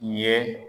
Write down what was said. Ye